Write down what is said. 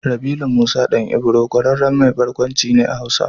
Rabilu Musa ɗan Ibro ƙwararren mai barkwanci ne a Hausa.